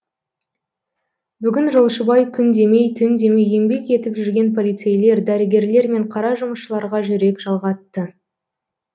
бүгін жолшыбай күн демей түн демей еңбек етіп жүрген полицейлер дәрігерлер мен қара жұмысшыларға жүрек жалғатты